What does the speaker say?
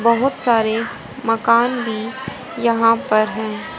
बहुत सारे मकान भी यहां पर हैं।